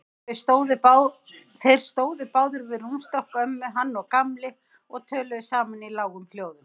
Þeir stóðu báðir við rúmstokk ömmu, hann og Gamli, og töluðu saman í lágum hljóðum.